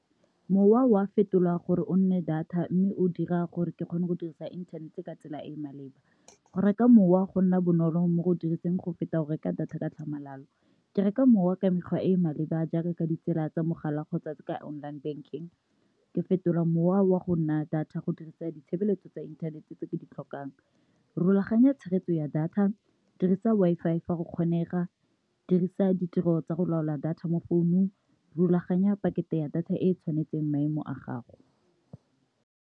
Mowa wa fetolwa gore o nne data mme o dira gore ke kgone go dirisa inthanete ka tsela e e maleba. Go reka mowa go nna bonolo mo go diriseng go feta go reka data ka tlhamalalo, ke reka mowa ka mekgwa e e maleba a jaaka ka ditsela tsa mogala ka tsatsi ka online bank-ing, ke fetola mowa wa go nna data go dirisa ditshebeletso tsa inthanete tse ke di tlhokang. Rulaganya tshegetso ya data dirisa Wi-Fi fa go kgonega, dirisa ditiro tsa go laola data mo founung, rulaganya pakete ya data e e tshwanetseng maemo a gago.